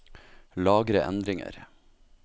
Lagre endringer